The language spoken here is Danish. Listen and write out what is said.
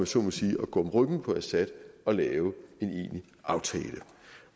så må sige at gå om ryggen på assad og lave en egentlig aftale